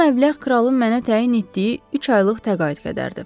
Bu məbləğ kralın mənə təyin etdiyi üç aylıq təqaüd qədərdir.